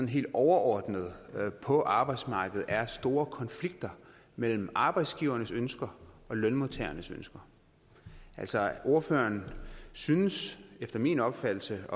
helt overordnet på arbejdsmarkedet er store konflikter mellem arbejdsgivernes ønsker og lønmodtagernes ønsker altså ordføreren synes efter min opfattelse